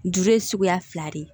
Juru ye suguya fila de ye